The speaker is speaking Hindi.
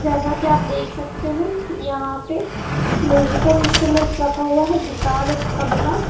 जैसा की आप देख सकते हैं यहां पे म्यूजिकल इंस्ट्रूमेंट रखा हुआ है गिटार और तबला।